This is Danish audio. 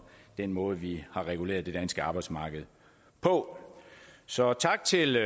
den måde vi har reguleret det danske arbejdsmarked på så tak til